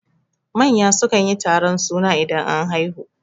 Manya sukan yi taron suna idan an haihu